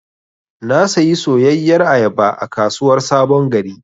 Na sayi soyayyar ayaba a kasuwar sabon gari.